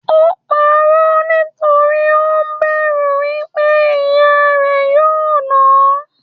Ò pa'rọ́ nítorí ó bẹ̀rù wípé ìyá rẹ̀ yóò náà hán.